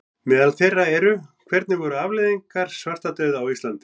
Meðal þeirra eru: Hvernig voru afleiðingar svartadauða á Íslandi?